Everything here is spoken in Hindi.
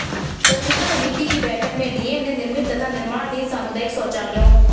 स्वच्छता समिति की बैठक में डीएम ने निर्मित तथा निर्माणाधीन सामुदायिक शौचालयों